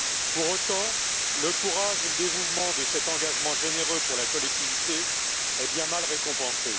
Pour autant, le courage et le dévouement de cet engagement généreux pour la collectivité est bien mal récompensé.